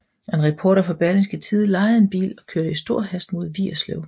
En reporter fra Berlingske Tidende lejede en bil og kørte i stor hast mod Vigerslev